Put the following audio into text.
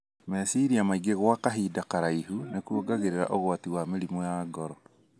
Meciria maingĩ gwa kahinda karaihu nĩ kũongagĩrĩra ũgwati wa mĩrimũ ya ngoro.